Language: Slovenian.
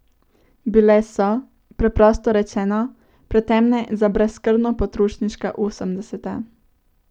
Bile so, preprosto rečeno, pretemne za brezskrbno potrošniška osemdeseta.